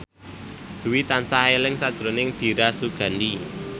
Dwi tansah eling sakjroning Dira Sugandi